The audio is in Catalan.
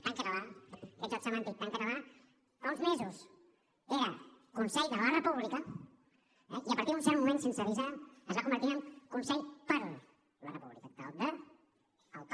tan català aquest joc semàntic tan català fa uns mesos era consell de la república i a partir d’un cert moment sense avisar es va convertir en consell per la república del de al per